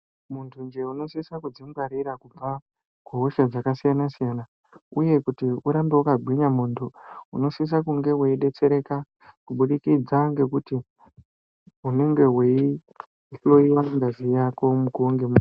Muntu nje unosisa kuzvingwarira kubva kuhosha dzakasiyana-siyana uye kuti urambe wakagwinya muntu Unosisa kunge weidetsereka kuburikidza ngekuti unenge weihloiwa ngazi Yako mukuwo ngemukuwo.